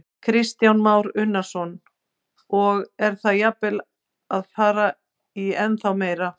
Kristján Már Unnarsson: Og er það jafnvel að fara í ennþá meira?